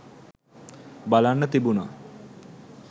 බලන්න තිබුනා